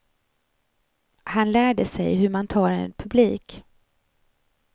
Han lärde sig hur man tar en publik.